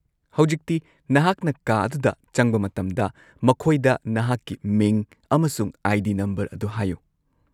-ꯍꯧꯖꯤꯛꯇꯤ, ꯅꯍꯥꯛꯅ ꯀꯥ ꯑꯗꯨꯗ ꯆꯪꯕ ꯃꯇꯝꯗ ꯃꯈꯣꯏꯗ ꯅꯍꯥꯛꯀꯤ ꯃꯤꯡ ꯑꯃꯁꯨꯡ ꯑꯥꯏ.ꯗꯤ. ꯅꯝꯕꯔ ꯑꯗꯨ ꯍꯥꯏꯌꯨ ꯫